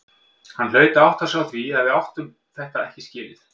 Hann hlaut að átta sig á því að við áttum þetta ekki skilið.